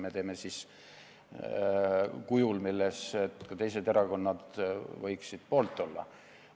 Me teeme selle siis nüüd kujul, mille poolt ka teised erakonnad võiksid olla.